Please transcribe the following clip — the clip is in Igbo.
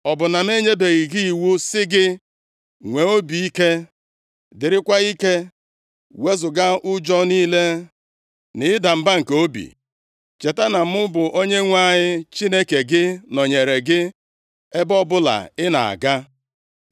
Ọ bụ na m enyebeghị gị iwu sị gị, Nwee obi ike, dịrịkwa ike! Wezuga ụjọ niile na ịda mba nke obi. Cheta na mụ, bụ Onyenwe anyị Chineke gị, nọnyeere gị ebe ọbụla ị na-aga.”